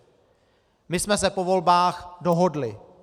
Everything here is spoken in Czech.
My jsme se po volbách dohodli.